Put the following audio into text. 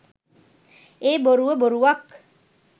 ඒ බොරුව බොරුවක්